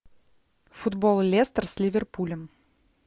футбол лестер с ливерпулем